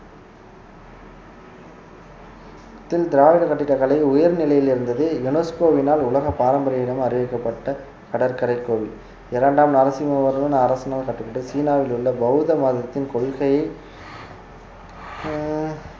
திராவிட கட்டிடக்கலை உயர்நிலையில் இருந்தது UNESCO வினால் உலக பாரம்பரிய இடம் அறிவிக்கப்பட்ட கடற்கரை கோயில் இரண்டாம் நரசிம்மவர்மன் அரசனால் கட்டபட்ட~ சீனாவில் உள்ள பௌத்த மதத்தின் கொள்கையை உம்